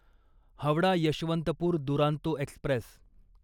Howrah Yesvantpur Duronto Express